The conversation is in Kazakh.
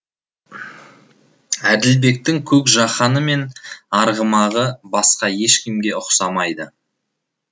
әділбектің көк жаһаны мен арғымағы басқа ешкімге ұқсамайды